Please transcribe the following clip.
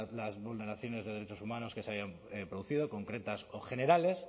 las vulneraciones de derechos humanos que se hayan producido concretas o generales